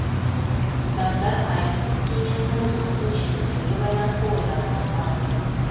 ұстаздар қайырымдылық кеңесінің жұмысын жетілдіруге байланысты ойларын ортаға салды